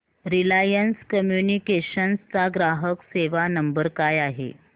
Reliance Communications चा ग्राहक सेवा नंबर काय आहे